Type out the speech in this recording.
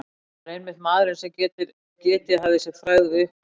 Það var einmitt maðurinn, sem getið hafði sér frægð við uppgröft